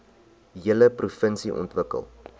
hele provinsie ontwikkel